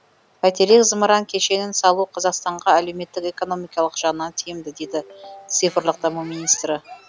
бәйтерек зымыран кешенін салу қазақстанға әлеуметтік экономикалық жағынан тиімді дейді цифрлық даму министрі